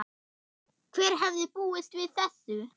Hver hefði búist við þessu?